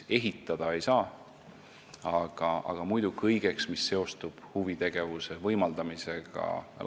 Ehitada ei saa, aga muidu on see mõeldud kõigeks, mis seostub lastele huvitegevuse võimaldamisega.